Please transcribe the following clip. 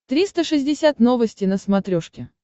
триста шестьдесят новости на смотрешке